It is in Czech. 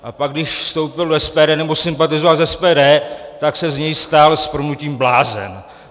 A pak, když vstoupil do SPD, nebo sympatizoval s SPD, tak se z něj stal s prominutím blázen.